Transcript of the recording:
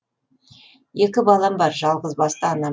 екі балам бар жалғызбасты анамын